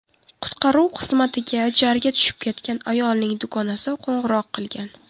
Qutqaruv xizmatiga jarga tushib ketgan ayolning dugonasi qo‘ng‘iroq qilgan.